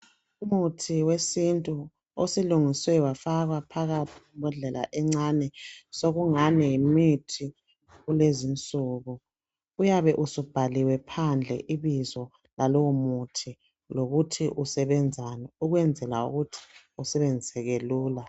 Umuthi wesintu osulungiswe wafakwa phakathi kwembodlela encane sokungani yimithi yakulezinsuku uyabe usubhaliwe phandle ibizo lalowomuthi lokuthi usebenzani ukwenzela ukuthi usebenziseke lula.